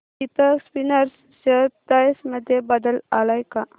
Deepak spinners share price मध्ये बदल आलाय का